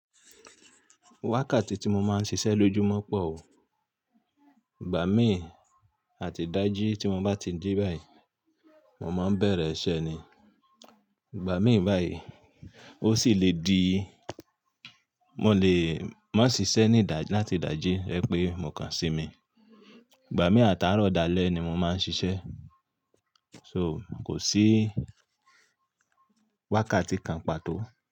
Wákàtí tí mo máa ń ṣiṣẹ́ lójú mọ́ pọ̀ oo. Ìgbà míì àti ìdájí tí mo bá ti jí báyìí, mo máa n bẹ̀rẹ̀ iṣẹ́ ni. Ìgbà míì báyìí, ó sì le di, mo lè, máa ṣiṣẹ́ ní ìdájí láti ìdájí to jẹ pé mò kan sí mi. Ìgbà míì àti àárọ̀ dalẹ́ ni mo máa ń ṣiṣẹ́. So kò sí wákàtí kan pàtó.